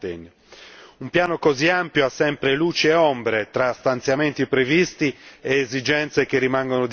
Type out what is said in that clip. Un piano così ampio ha sempre luci e ombre fra stanziamenti previsti ed esigenze che rimangono disattese.